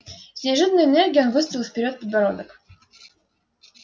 с неожиданной энергией он выставил вперёд подбородок